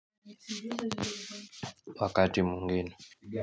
Wakati mwingine.